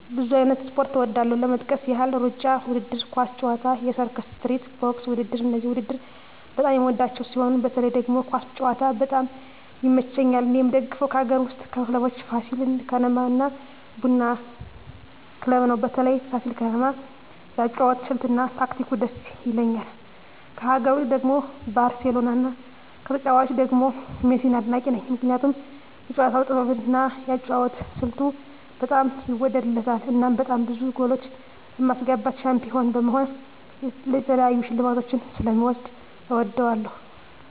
ብዙ አይነት ስፖርት እወዳለሁ ለመጥቀስ ያህል እሩጫ ውድድር፣ ኳስ ጨዋታ፣ የሰርከስ ትርኢት፣ ቦክስ ውድድር እነዚህን ውድድር በጣም የምወዳቸው ሲሆን በተለይ ደግሞ ኳስ ጨዋታ በጣም ይመቸኛል እኔ የምደግፈው ከአገር ውስጥ ክለቦች ፋሲል ከነማ እና ቡና ክለብ ነው በተለይ ፋሲል ከነማ የአጨዋወት ስልት እና ታክቲኩ ድስ ይላል ከሀገር ውጭ ደግሞ ባርሴሎና ከተጫዋቾቹ ደግሞ ሜሲን አድናቂ ነኝ ምክንያቱም የጨዋታው ጥበብ እና የአጨዋወት ስልቱ በጣም ይወደድለታል እናም በጣም ብዙ ጎሎች በማስገባት ሻንፒሆን በመሆን የተለያዩ ሽልማቶችን ስለ ሚወስድ እወደዋለሁ።